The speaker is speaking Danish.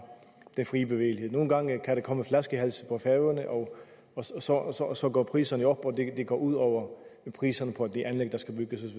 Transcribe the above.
den fri bevægelighed nogle gange kan der komme flaskehalse og og så går priserne jo op og det går ud over priserne på de anlæg der skal bygges